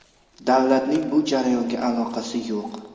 Davlatning bu jarayonga aloqasi yo‘q.